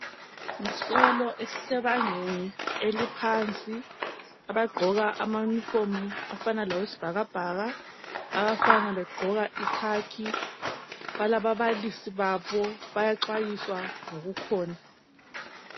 Isikolo esisebangeni eliphansi abagqoka amayunifomu afana lawesibhakabhaka, abafana begqoka ikhakhi. Balababalisi babo, bayaxwayiswa ngokukhona.